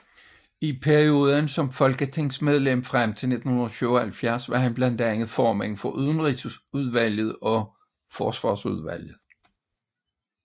I perioden som folketingsmedlem frem til 1977 var han blandt andet formand for Udenrigsudvalget og Forsvarsudvalget